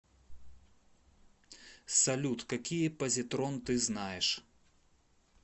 салют какие позитрон ты знаешь